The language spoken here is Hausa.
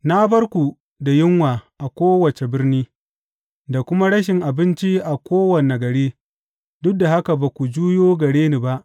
Na bar ku da yunwa a kowace birni, da kuma rashin abinci a kowane gari, duk da haka ba ku juyo gare ni ba,